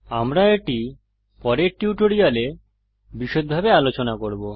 আমরা এটি পরের টিউটোরিয়ালে বিষদভাবে আলোচনা করব